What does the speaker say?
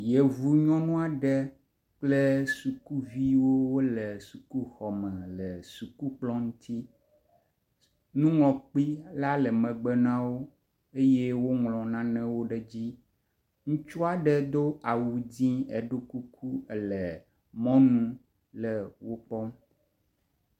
Yevu nyɔnu aɖe kple sukuviwo wo le sukuxɔme le sukukplɔ ŋuti. Nuŋlɔkpe la le megbe na wo eye woŋlɔ nanewo ɖe edzi. Ŋutsu aɖe do awu dzi eɖo kuku le mɔnu le wo kpɔm.